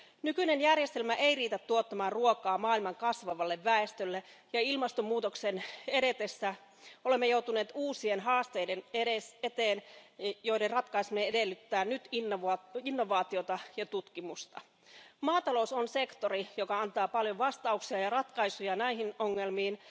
Nykyinen järjestelmä ei riitä tuottamaan ruokaa maailman kasvavalle väestölle, ja ilmastomuutoksen edetessä olemme joutuneet uusien haasteiden eteen, joiden ratkaiseminen edellyttää nyt innovaatioita ja tutkimusta. Maatalous on sektori, joka antaa paljon vastauksia ja ratkaisuja näihin ongelmiin.